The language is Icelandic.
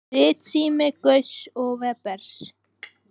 Ritsími Gauss og Webers.